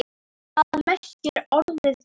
Hvað merkir orðið gala?